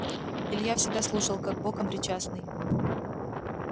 илья всегда слушал как боком причастный